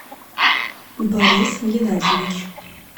борис геннадьевич